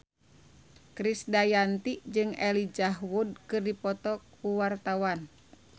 Krisdayanti jeung Elijah Wood keur dipoto ku wartawan